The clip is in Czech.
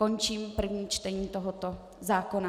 Končím první čtení tohoto zákona.